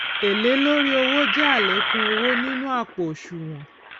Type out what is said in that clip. èlé lórí owó jé àlékún owó nínú àpò òṣùwòn